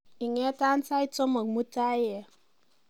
ingetan sait somok mutai en